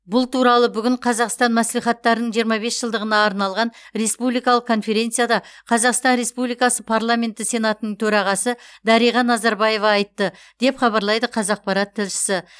бұл туралы бүгін қазақстан мәслихаттарының жиырма бес жылдығына арналған республикалық конференцияда қазақстан республикасы парламенті сенатының төрағасы дариға назарбаева айтты деп хабарлайды қазақпарат тілшісі